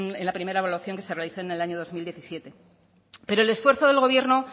en la primera evaluación que se realizó en el año dos mil diecisiete pero el esfuerzo del gobierno